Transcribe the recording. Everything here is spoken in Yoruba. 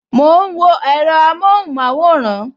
Mo ń wo èro amohun maworan